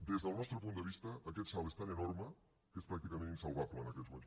des del nostre punt de vista aquest salt és tan enorme que és pràcticament insalvable en aquests moments